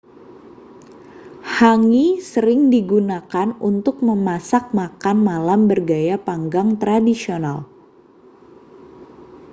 hangi sering digunakan untuk memasak makan malam bergaya panggang tradisional